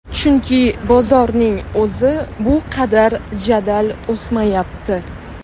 Chunki bozorning o‘zi bu qadar jadal o‘smayapti.